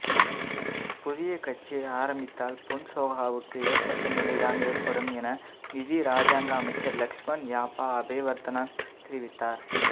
புதிய கட்சி ஆரம்பித்தால் பொன்சேகாவுக்கு ஏற்பட்ட நிலைதான் ஏற்படும் என நிதி இராஜாங்க அமைச்சர் லக்ஷமன் யாப்பா அபேவர்தன தெரிவித்தார்